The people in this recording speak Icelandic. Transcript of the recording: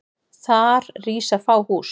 Þar rísa fá hús.